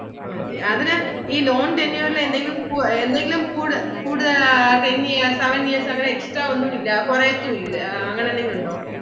മതി അതിനു ഈ loan tenure ഇല് എന്തെങ്കിലും കുടുതല് ten years seven years അങ്ങനെ extra ഒന്നും ഇല്ല കുറയത്തും ഇല്ല അങ്ങിനെ എന്തെങ്കിലും ഉണ്ടോ.